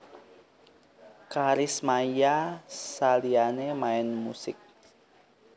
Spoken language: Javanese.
Karis Maia saliyane main musik